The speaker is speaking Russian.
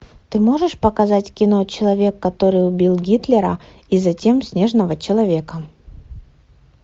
ты можешь показать кино человек который убил гитлера и затем снежного человека